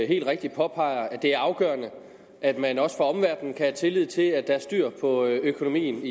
helt rigtigt påpeger at det er afgørende at man også fra omverdenen kan have tillid til at der er styr på økonomien